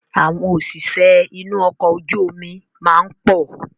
Àwọn òṣìṣẹ́ inú ọkọ̀ ojú omi máa ń pọ̀